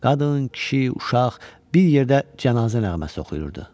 Qadın, kişi, uşaq bir yerdə cənazə nəğməsi oxuyurdu.